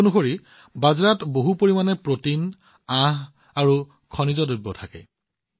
এই হিচাপত বাজৰাত যথেষ্ট পৰিমাণে প্ৰটিন আঁহ আৰু খনিজ থাকে